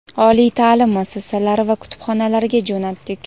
oliy ta’lim muassasalari va kutubxonalarga jo‘natdik.